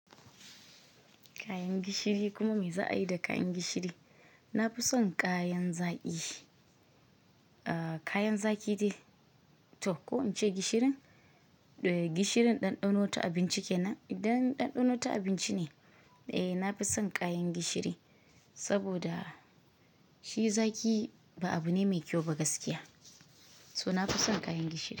Kayan gishiri kuma mai za a yi da kayan gishiri? Na fi son kayan zaki. Kayan zaki dai to ko in ce gishirin? Gishirin ɗanɗano ta abinci ke nan. Idan ɗanɗano ta abinci ne, eh na fi son kayan gishiri saboda shi zaki ba abu ne mai kyau ba gaskiya. So na fi son kayan gishiri.